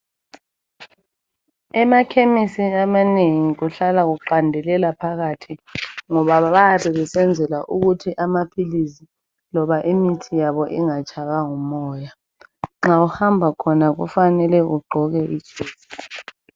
emakhemisi amanengi kuhlala kuqandelela phakathi ngoba bayabe besenzela ukuthi amaphilisi loba imithi yabo ingatshaywa ngumoya nxa uhamba khona kufanele ugqoke i jesi